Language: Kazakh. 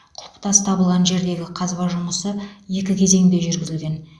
құлпытас табылған жердегі қазба жұмысы екі кезеңде жүргізілген